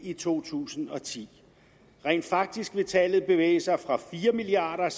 i to tusind og ti rent faktisk vil tallet bevæge sig fra fire milliard